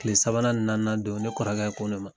Tile sabanan ni naaninan don, ne kɔrɔkɛ ko ne ma